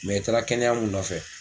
i taara kɛnɛya mun nɔfɛ.